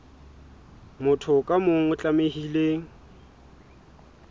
motho ka mong o tlamehile